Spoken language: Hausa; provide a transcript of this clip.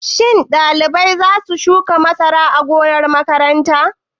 Shin ɗalibai za su shuka masara a gonar makaranta?